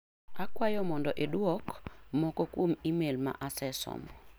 Akwayo mondo iduoki moko kuom imel ma asesomo .